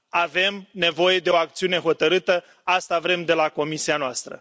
Avem nevoie de o acțiune hotărâtă, asta vrem de la Comisia noastră.